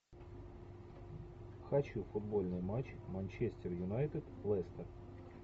хочу футбольный матч манчестер юнайтед лестер